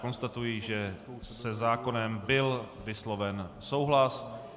Konstatuji, že se zákonem byl vysloven souhlas.